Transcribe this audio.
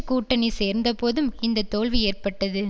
கூட்டணி சேர்ந்தபோதும் இந்த தோல்வி ஏற்பட்டது